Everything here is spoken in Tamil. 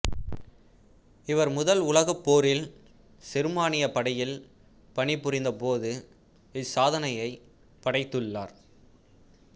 இவர் முதல் உலகப் போரில் செருமானியப் படையில் பணிபுரிந்தபோது இச்சாதனையைப் படைத்துள்ளார்